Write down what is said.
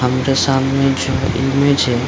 हमरे सामने जो इमेज है।